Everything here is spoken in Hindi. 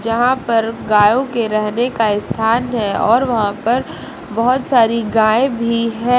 यहां पर गायों के रहने का स्थान है और वहां पर बहुत सारी गायें भी हैं।